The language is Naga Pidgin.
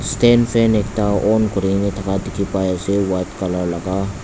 stand fan ekta on kurina thaka dikhipaiase white colour laka.